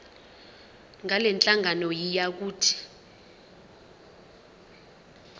ngalenhlangano yiya kut